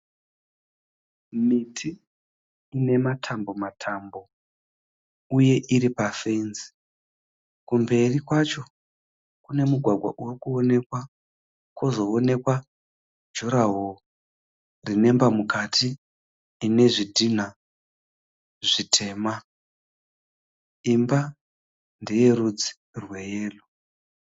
Miti inematambo matambo uye iripafenzi kumberi kwacho kune mugwagwa urikuwonekwa kozowonekwa jurahoro rinemba mukati inezvidhina zvitema imba ndeyerudzi rweyero.